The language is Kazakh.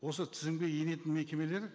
осы тізімге енетін мекемелер